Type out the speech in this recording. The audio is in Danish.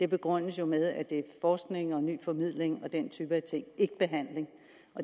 begrundes jo med at det er forskning ny formidling og den type ting ikke behandling